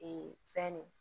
fɛn ne